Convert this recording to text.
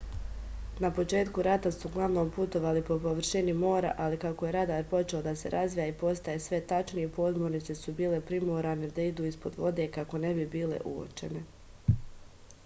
na početku rata su uglavnom putovali po površini mora ali kako je radar počeo da se razvija i postaje sve tačniji podmornice su bile primorane da idu ispod vode kako ne bi bile uočene